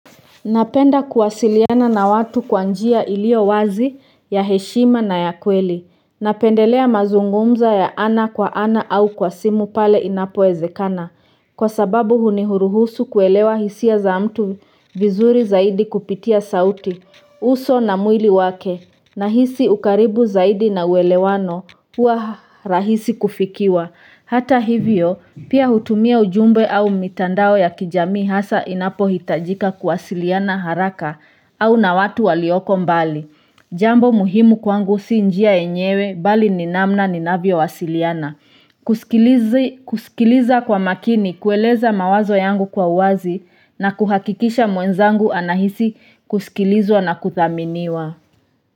Napenda kuwasiliana na watu kwa njia ilio wazi ya heshima na ya kweli, napendelea mazungumzo ya ana kwa ana au kwa simu pale inapowezekana, kwa sababu huni huruhusu kuelewa hisia za mtu vizuri zaidi kupitia sauti, uso na mwili wake, nahisi ukaribu zaidi na uwelewano, huwa rahisi kufikiwa. Hata hivyo, pia hutumia ujumbe au mitandao ya kijamii hasa inapohitajika kuwasiliana haraka au na watu walioko mbali. Jambo muhimu kwangu si njia yenyewe bali ni namna ninavyowasiliana. Kusikiliza kwa makini kueleza mawazo yangu kwa uwazi na kuhakikisha mwenzangu anahisi kusikilizwa na kuthaminiwa.